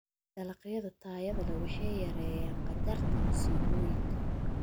Dalagyada tayada leh waxay yareeyaan khatarta masiibooyinka.